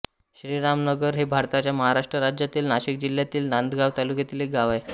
श्रीरामनगर हे भारताच्या महाराष्ट्र राज्यातील नाशिक जिल्ह्यातील नांदगाव तालुक्यातील एक गाव आहे